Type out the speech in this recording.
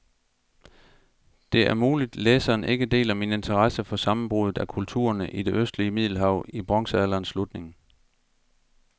Det er muligt, læseren ikke deler min interesse for sammenbruddet af kulturerne i det østlige middelhav i bronzealderens slutning.